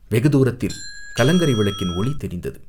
வெகுதூரத்தில் கலங்கரை விளக்கின் ஒளி தெரிந்தது.